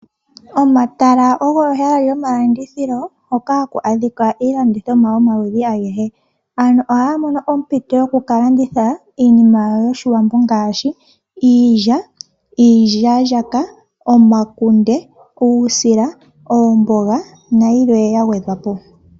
Omatala ogo ehala lyomalandithilo hoka haku adhika iilandithomwa yomaludhi agehe. Ano ohaya mono ompito yokukalanditha iinima yawo yOshiwambo ngaashi, iilya, iilyaalyaka, omakunde, uusila, oomboga nayilwe yagwedhwa po.